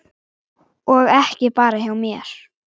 Og ekki bara hjá mér.